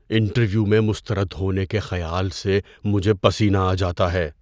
Interview میں مسترد ہونے کے خیال سے مجھے پسینہ آ جاتا ہے۔